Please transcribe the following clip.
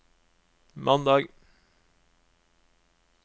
mandag